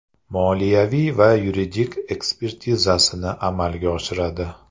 Moliyaviy va yuridik ekspertizasini amalga oshiradi.